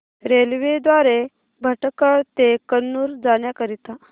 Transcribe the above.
railway द्वारे भटकळ ते कन्नूर जाण्या करीता